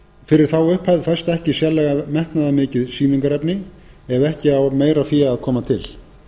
fyrir þá upphæð fæst ekki sérlega metnaðarmikið sýningarefni ef ekki á meira fé að koma til